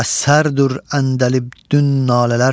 Müəssərdir əndəlibdün nalələr.